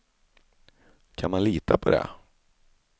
Kan man lita på det?